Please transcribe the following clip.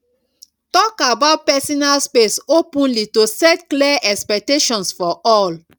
talk about personal space openly to set clear expectations for all